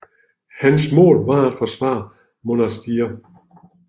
Hans mål var at forsvare Monastir